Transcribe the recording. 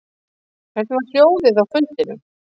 Hvernig var hljóðið á fundinum